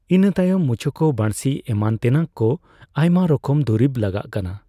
ᱤᱱᱟᱹᱛᱟᱭᱚᱢ ᱢᱩᱪᱩᱠᱩ ᱵᱟᱹᱲᱥᱤ ᱮᱢᱟᱱ ᱛᱮᱱᱟᱜᱠᱚ ᱟᱭᱢᱟ ᱨᱚᱠᱚᱢ ᱫᱩᱨᱤᱵ ᱞᱟᱜᱟᱜ ᱠᱟᱱᱟ